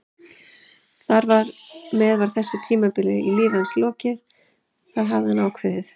Þar með var þessu tímabili í lífi hans lokið, það hafði hann ákveðið.